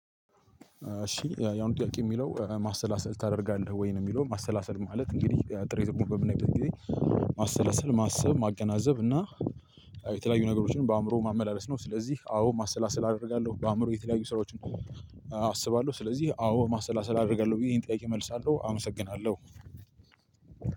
እሺ ያው ጥያቄ የሚለው ማሰላሰል ታደርጋለህ ወይ ነው? የሚለው ማሰላሰል ማለት እንግዲህ ጥሬ ትርጉሙን በምናይበት ጊዜ። ማሰላሰል ማሰብ ማገናዘብ እና የተለያዩ ነገሮችን በአእምሮ ማመላለስ ነው። ስለዚህ አዎ ማሰላሰል አደርጋለሁ በአእምሮ የተለያዩ ስራዎችን። አስባለሁ ስለዚህ አዎ ማሰላሰል አደርጋለሁ ብዬ ይሄን ጥያቄ እመልሳለሁ አመሰግናለሁ።